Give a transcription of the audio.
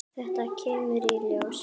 Þetta kemur í ljós!